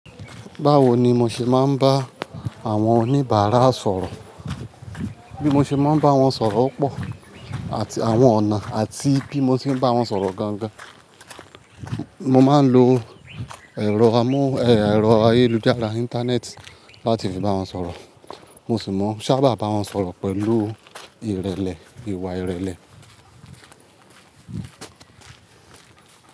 Báwo ni mo ṣe máa ń bá àwọn oníbàárà sọ̀rọ̀? Bí mo ṣe máa ń bá wọn sọ̀rọ̀ pọ̀ àti àwọn ọ̀nà àti bí mo ṣe ń bá wọn sọ̀rọ̀ gangan. Mo máa ń lo ẹ̀rọ amó, ẹ̀, ẹ̀rọ ayélujára Íńtánẹ́ẹ̀tì láti fi bá wọn sọ̀rọ̀. Mo sì máa ń sábà bá wọn sọ̀rọ̀ pẹ̀lú ìrẹlẹ, ìwà ìrẹlẹ.